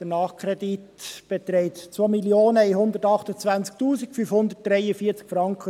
Der Nachkredit beträgt 2 128 543.72 Franken.